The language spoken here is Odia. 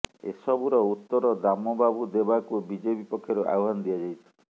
ଏସବୁର ଉତ୍ତର ଦାମ ବାବୁ ଦେବାକୁ ବିଜେପି ପକ୍ଷରୁ ଆହ୍ବାନ ଦିଆଯାଇଛି